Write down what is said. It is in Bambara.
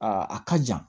a ka jan